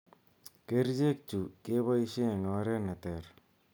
Kercheek chu kobaishe eng' oreet neter.